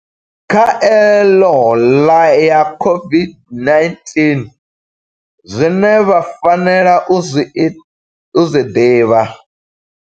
Khaelo ya COVID-19, Zwine vha fanela u zwi ḓivha.